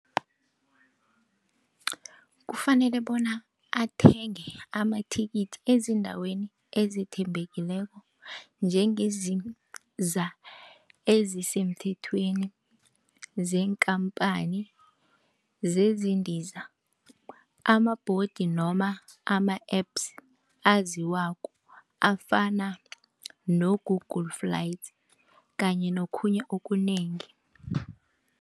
Kufanele bona athenge amathikithi ezindaweni ezethembekileko, njengezisemthethweni zeenkhamphani zezindiza, amabhodi noma ama-Apps aziwako afana no-Google flights kanye nokhunye okunengi.